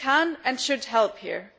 The EU can and should help here.